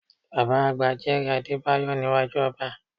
Bàbá àgbà jẹ́rìí Adébáyọ̀ níwájú ọba